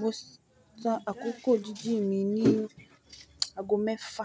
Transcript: Mo san àkókò jíjìn mi ní ago mẹ́fa,